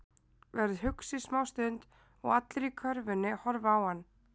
Verður hugsi smá stund og allir í körfunni horfa á hann.